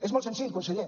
és molt senzill conseller